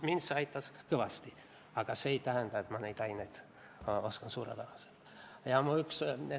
Mind aitas see kõvasti, aga see ei tähenda, et ma neid aineid suurepäraselt oskan.